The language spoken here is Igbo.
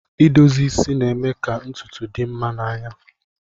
Idozi isi na-eme ka ntutu dị mma n'anya